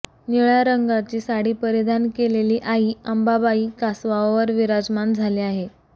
निळ्या रंगाची साडी परिधान केलेली आई अंबाबाई कासवावर विराजमान झाली आहे